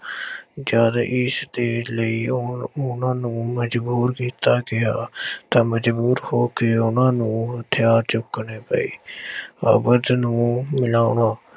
ਜਦ ਇਸਦੇ ਲਈ ਹੁਣ ਉਹਨਾਂ ਨੂੰ ਮਜ਼ਬੂਰ ਕੀਤਾ ਗਿਆ ਤਾਂ ਮਜ਼ਬੂਰ ਹੋ ਕੇ ਉਹਨਾਂ ਨੂੰ ਹਥਿਆਰ ਚੁੱਕਣੇ ਪਏ ਨੂੰ